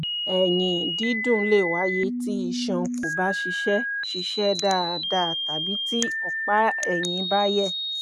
ẹ̀yìn-dídùn le wáyé tí iṣan kò bá ṣiṣẹ́ ṣiṣẹ́ dáadáa tàbí tí ọ̀pá-ẹ̀yìn bá yẹ̀